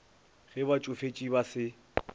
ge ba tšofetše ba se